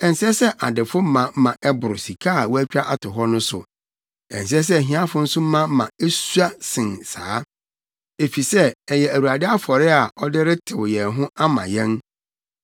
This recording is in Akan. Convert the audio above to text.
Ɛnsɛ sɛ adefo ma ma ɛboro sika a wɔatwa ato hɔ no so. Ɛnsɛ sɛ ahiafo nso ma nea esua sen saa, efisɛ ɛyɛ Awurade afɔre a ɔde retew yɛn ho ama yɛn.